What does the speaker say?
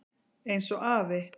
Eins og afi.